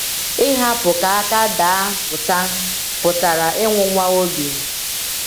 Ihapụ ka aka daa pụta pụtara ịnwụnwa obi.